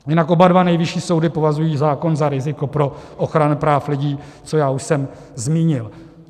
Jinak oba dva nejvyšší soudy považují zákon za riziko pro ochranu práv lidí, což já už jsem zmínil.